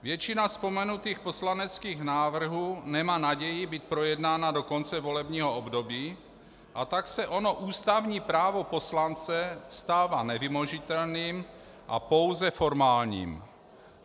Většina vzpomenutých poslaneckých návrhů nemá naději být projednána do konce volebního období, a tak se ono ústavní právo poslance stává nevymožitelným a pouze formálním.